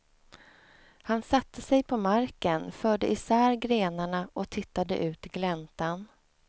Han satte sig på marken, förde isär grenarna och tittade ut i gläntan.